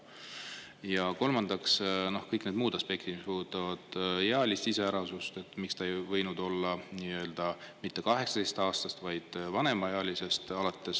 Ja kolmandaks, kõik need muud aspektid, mis puudutavad ealist iseärasust, miks ta ei võinud olla mitte 18‑aastast, vaid vanemaealisest alates …